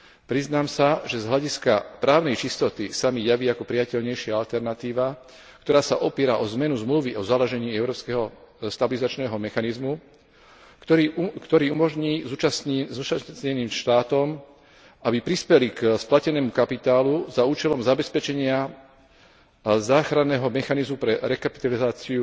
Priznám sa, že z hľadiska právnej čistoty sa mi javí ako prijateľnejšia alternatíva, ktorá sa opiera o zmenu Zmluvy o založení Európskeho stabilizačného mechanizmu, ktorý umožní zúčastneným štátom, aby prispeli k splatenému kapitálu za účelom zabezpečenia záchranného mechanizmu pre rekapitalizáciu